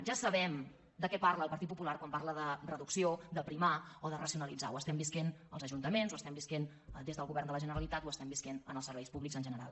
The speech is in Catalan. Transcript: ja sabem de què parla el partit popular quan parla de reducció d’aprimar o de racionalitzar ho estem vivint als ajuntaments ho estem vivint des del govern de la generalitat ho estem vivint en els serveis públics en general